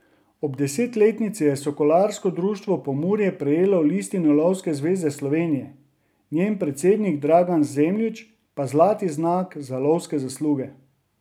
Ob desetletnici je Sokolarsko društvo Pomurje prejelo listino Lovske zveze Slovenije, njen predsednik Dragan Zemljič pa zlati znak za lovske zasluge.